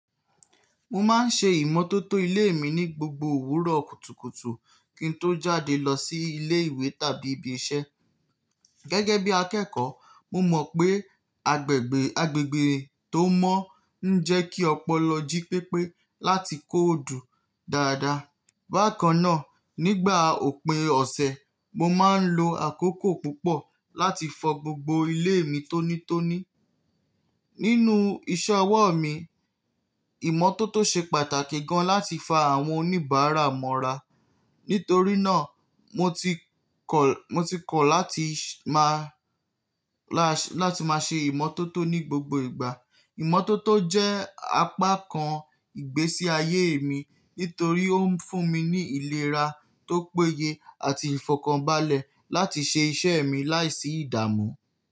Mo máa ń ṣe ìmọ́tótó ilé mi ní gbogbo òwúrọ̀ kùtùkùtù kí n tó jáde lọ sí ilé ìwé tàbí ibi iṣẹ́. Gẹ́gẹ́ bí akẹ́kọ̀ọ́, mo mọ̀ pé agbègbè, agbègbè tó mọ́ ń jẹ́ kí ọpọlọ jí pépé láti kóòdù dáadáa. Bákan náà, nígbà òpin ọ̀sẹ̀, mo máa ń lo àkókò púpọ̀ láti fọ gbogbo ilé mi tónítóní. Nínú iṣẹ́ ọwọ́ mi, ìmọ́tótó ṣe pàtàkì gan láti fa àwọn oníbàárà mọ́ra. Nítorí náà, mo ti kọ̀, mo ti kọ̀ láti máa, láti máa ṣe ìmọ́tótó ní gbogbo ìgbà. Ìmọ́tótó jẹ́ apá kan ìgbésí ayé mi nítorí ó ń fún mi ní ìlera tó péye àti ìfọ̀kànbalẹ̀ láti ṣe iṣẹ́ mi láìsí ìdààmú.